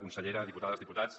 consellera diputades diputats